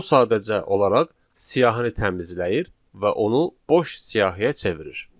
O sadəcə olaraq siyahını təmizləyir və onu boş siyahıya çevirir.